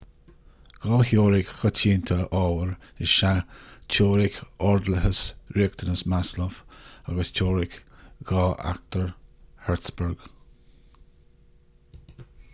dhá theoiric choitianta ábhair is ea teoiric ordlathas riachtanas maslow agus teoiric dhá fhachtóir hertzberg